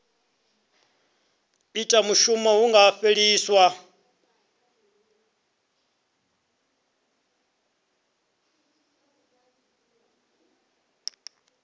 ita mushumo hu nga fheliswa